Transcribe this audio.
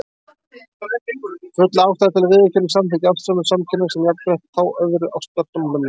Full ástæða er til að viðurkenna og samþykkja ástarsambönd samkynhneigðra sem jafnrétthá öðrum ástarsamböndum.